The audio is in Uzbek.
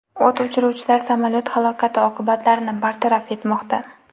O‘t o‘chiruvchilar samolyot halokati oqibatlarini bartaraf etmoqda.